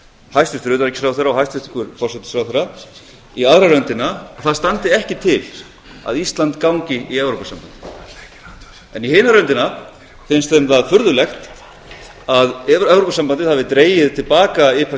hæstvirtur utanríkisráðherra og hæstvirtur forsætisráðherra í aðra röndina að það standi ekki til að íslandi gangi í evrópusambandið en í hina röndina finnst þeim það furðulegt að evrópusambandið hafi dregið ipa styrkina til